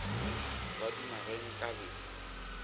ba duma ge nka be